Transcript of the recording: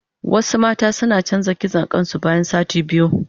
Wasu mata suna canza kitson kain su bayan sati biyu.